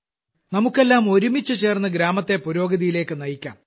നമുക്കെല്ലാം ഒരുമിച്ചു ചേർന്നു ഗ്രാമത്തെ പുരോഗതിയിലേക്കു നയിക്കാം